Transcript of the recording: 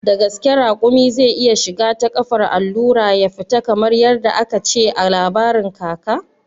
Da gaske raƙumi zai iya shiga ta kafar allura ya fita kamar yadda aka ce a labarin kaka?